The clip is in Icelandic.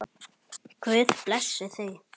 Guð blessi þau.